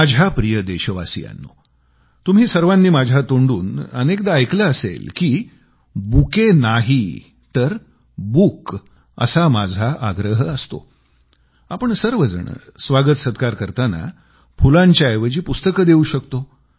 माझ्या प्रिय देशवासियांनो तुम्ही सर्वांनी माझ्या तोंडून अनेकदा ऐकलं असेल की बुके नाही तर बुक असा माझा आग्रह असतोआपण सर्वजण स्वागतसत्कार करताना फुलांच्या ऐवजी पुस्तकं देवू शकतो